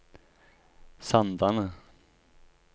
Sandane